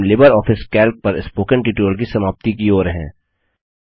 अब हम LibreOffice Calc पर स्पोकन ट्यूटोरियल की समाप्ति की ओर हैं